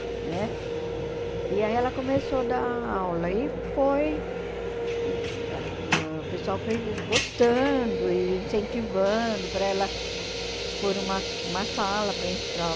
Né? E aí ela começou a dar aula e foi ãh o pessoal foi gostando e incentivando para ela pôr uma uma sala para ensi para